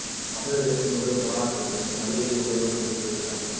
தமிழகத்தின் முதல் கொரோனா தடுப்பூசி மதுரையில் முதல்வர் துவக்கி வைத்தார்